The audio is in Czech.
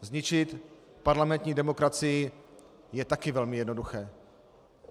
Zničit parlamentní demokracii je také velmi jednoduché.